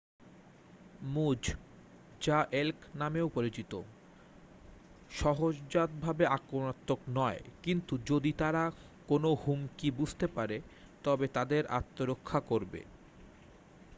মুজ যা এল্ক নামেও পরিচিত সহজাতভাবে আক্রমণাত্মক নয় কিন্তু যদি তারা কোনও হুমকি বুঝতে পারে তবে তাদের আত্মরক্ষা করবে।